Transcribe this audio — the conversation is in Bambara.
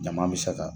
Ɲama be se ka